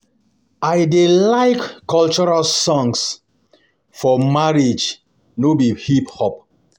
I dey like cultural songs for marriage no be hip hop